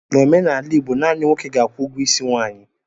N'omenala Igbo, naanị nwoke na-akwụ ụgwọ isi nwaanyị.